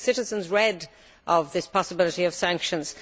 Citizens have read of this possibility of sanctions.